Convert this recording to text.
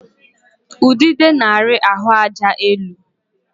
Udide na-ari ahụaja elu.